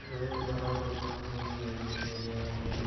बहुत बड़ा दुकान यहाँ पे।